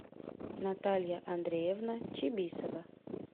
наталья андреевна чибисова